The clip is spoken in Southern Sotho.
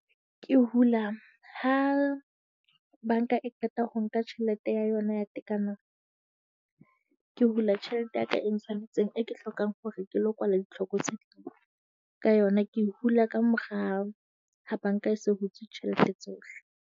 Ke hula ha banka e qeta ho nka tjhelete ya yona ya tekano, ke hula tjhelete ya ka e ntshwanetseng e ke hlokang hore ke lo kwala ditlhoko tse ka yona. Ke e hula ka morao ha banka e se hutse tjhelete tsohle.